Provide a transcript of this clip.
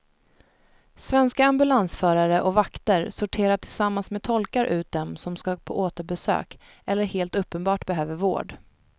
Svenska ambulansförare och vakter sorterar tillsammans med tolkar ut dem som ska på återbesök eller helt uppenbart behöver vård.